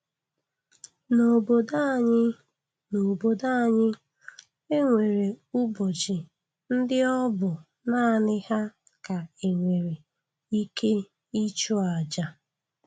N'obodo anyị, N'obodo anyị, e nwere ụbọchị ndị ọbụ naanị ha ka e nwere ike ịchụ aja